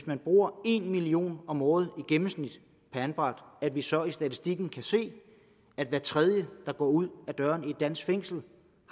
man bruger en million kroner om året i gennemsnit per anbragt at vi så i statistikken kan se at hver tredje der går ud ad døren i et dansk fængsel